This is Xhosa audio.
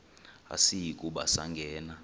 asiyi kuba sangena